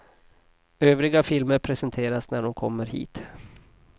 Övriga filmer presenteras när de kommer hit.